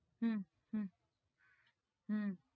হম হম হম